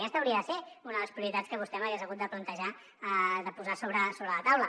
aquesta hauria de ser una de les prioritats que vostè m’hagués hagut de plantejar de posar sobre la taula